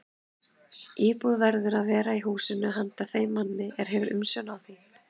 Íbúð verður að vera í húsinu handa þeim manni, er hefur umsjón á því.